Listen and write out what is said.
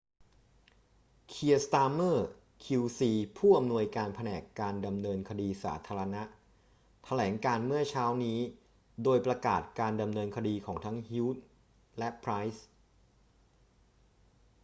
kier starmer qc ผู้อำนวยการแผนกการดำเนินคดีสาธารณะ แถลงการณ์เมื่อเช้านี้โดยประกาศการดำเนินคดีของทั้ง huhne และ pryce